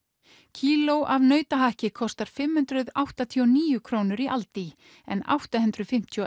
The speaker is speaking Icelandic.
kíló af nautahakki kostar fimm hundruð áttatíu og níu krónur í aldi en átta hundruð fimmtíu og